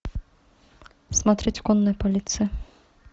смотреть конная полиция